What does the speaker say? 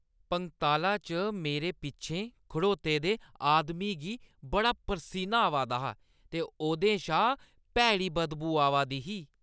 पंगताला च मेरे पिच्छें खड़ोते दे आदमी गी बड़ा परसीनी आवा दा हा ते ओह्दे शा भैड़ी बदबू आवा दी ही।